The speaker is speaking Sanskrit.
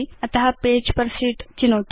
अत पेजेस् पेर् शीत् चिनोतु